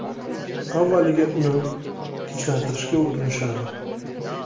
Avvaliga uni tinchlantirishga urinishadi.